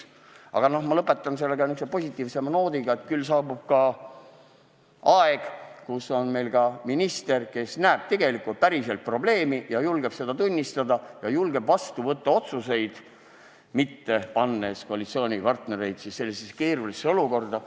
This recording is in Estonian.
Aga ma lõpetan niisuguse positiivsema noodiga, et küll saabub ka see aeg, kui meil on minister, kes näeb probleemi ja julgeb seda tunnistada ja julgeb vastu võtta otsuseid, mitte panna koalitsioonipartnereid sellisesse keerulisse olukorda.